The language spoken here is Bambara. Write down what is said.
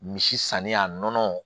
Misi sanni a nɔnɔ